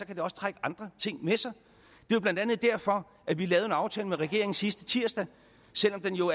kan det også trække andre ting med sig det er blandt andet derfor at vi lavede en aftale med regeringen sidste tirsdag selv om den jo